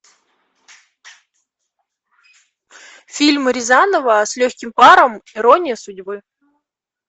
фильм рязанова с легким паром ирония судьбы